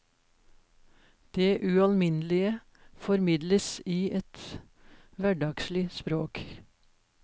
Det ualminnelige formidles i et hverdagslig språk.